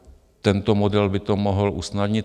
Tento model by to mohl usnadnit.